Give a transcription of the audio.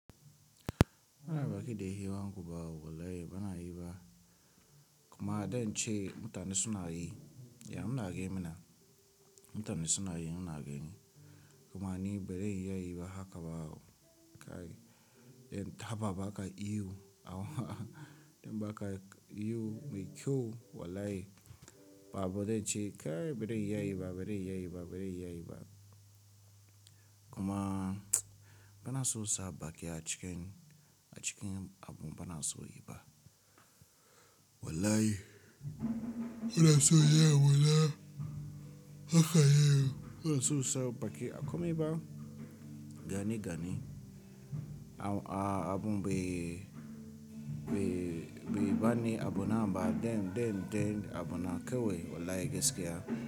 Bana baƙi da yi wanku ba wallahi bana yi ba. Kuma idan ce mutane suna yi, ya munage mina. Mutane suna yi muna gani. Kuma ni bai dai iya yi ba haka ba. Kai, idan taba baka iyo awu idan baka iyo mai kyau wallahi babu dai ce. Kai bai dai iya yi ba, bai dai iya yi ba, bai dai iya yi ba. Kuma bana so sa baki a cikin, a cikin abun bana so yi ba. Wallahi, bana so yi abuna haka yiwu. Bana so sa baki a komai ba gani gani. Awu a abun bai, bai, bai bani abu na ba den, den, den abu na kewaye wallahi gaskiya.